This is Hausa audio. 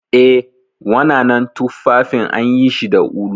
Eh, wananan tuffafin anyishi da ulu.